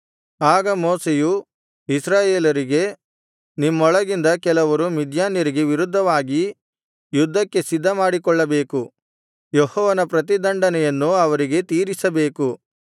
ಆಗ ಮೋಶೆಯು ಇಸ್ರಾಯೇಲರಿಗೆ ನಿಮ್ಮೊಳಗಿಂದ ಕೆಲವರು ಮಿದ್ಯಾನ್ಯರಿಗೆ ವಿರುದ್ಧವಾಗಿ ಯುದ್ಧಕ್ಕೆ ಸಿದ್ಧಮಾಡಿಕೊಳ್ಳಬೇಕು ಯೆಹೋವನ ಪ್ರತಿದಂಡನೆಯನ್ನು ಅವರಿಗೆ ತೀರಿಸಬೇಕು